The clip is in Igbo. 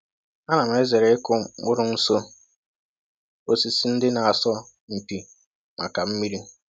A na m zere ịkụ mkpụrụ nso osisi ndị na-asọ mpi maka mmiri.